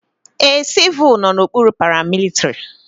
Ee, civul nọ n'okpuru paramilitrị.